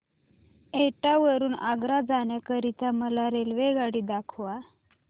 एटा वरून आग्रा जाण्या करीता मला रेल्वेगाडी दाखवा